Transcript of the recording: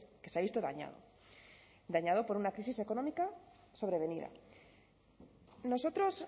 que se ha visto dañado dañado por una crisis económica sobrevenida nosotros